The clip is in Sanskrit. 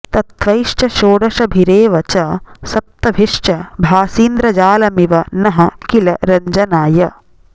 तत्त्वैश्च षोडशभिरेव च सप्तभिश्च भासीन्द्रजालमिव नः किल रञ्जनाय